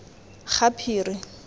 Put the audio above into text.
gaphiri